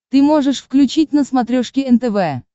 ты можешь включить на смотрешке нтв